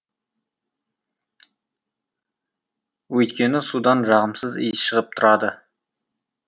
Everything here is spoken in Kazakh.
өйткені судан жағымсыз иіс шығып тұрады